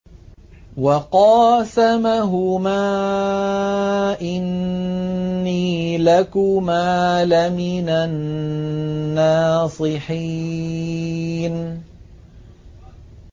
وَقَاسَمَهُمَا إِنِّي لَكُمَا لَمِنَ النَّاصِحِينَ